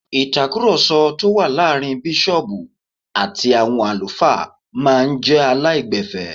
Ìtakùròsọ tó wà láàrin bísọ̀ọ̀bù àti àwọn àlùfáà máa n jé aláìgbẹ̀fẹ́